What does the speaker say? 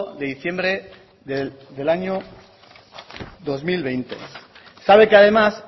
de diciembre del año dos mil veinte sabe que además